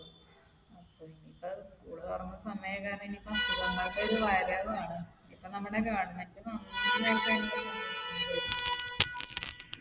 അപ്പൊ ഇനി ഇപ്പോൾ school തുറക്കുന്ന സമയം ഒക്കെ ആയത് കാരണം ഇനിയിപ്പോൾ ആണ്. ഇപ്പൊ നമ്മടെ government നന്നായിട്ട് .